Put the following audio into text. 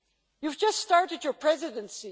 You have just started your Presidency.